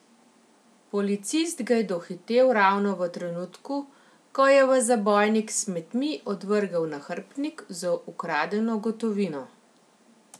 Policist ga je dohitel ravno v trenutku, ko je v zabojnik s smetmi odvrgel nahrbtnik z ukradeno gotovino.